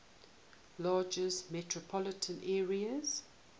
largest metropolitan areas